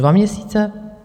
Dva měsíce?